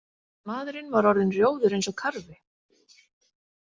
Maðurinn var orðinn rjóður eins og karfi.